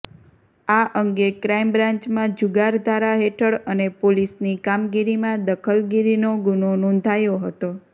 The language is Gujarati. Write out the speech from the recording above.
આ અંગે ક્રાઇમ બ્રાન્ચમાં જુગાર ધારા હેઠળ અને પોલીસની કામગીરીમાં દખલગીરીનો ગુનો નાંેધાયો હતો